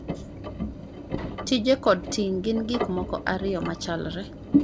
tije kod ting' gin gik moko ariyo machalre